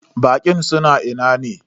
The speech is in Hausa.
Baƙin suna ina ne?